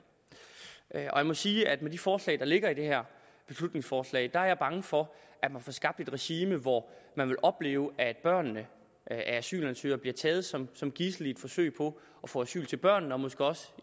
jeg må sige at med de forslag der ligger i det her beslutningsforslag er jeg bange for at man får skabt et regime hvor man vil opleve at børnene af asylansøgerne bliver taget som som gidsler i et forsøg på at få asyl til børnene og måske også